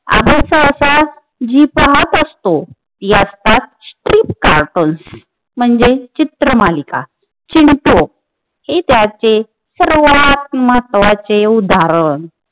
आपण सहसा जी पाहत असतो अर्थात स्क्रिप्ट कार्टून म्हंजे चित्रमालिका चीमको हे त्याचे सर्वात महत्वाचे उदाहरण